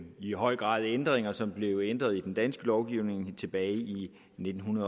i høj grad ændringer som blev ændret i den danske lovgivning tilbage i nitten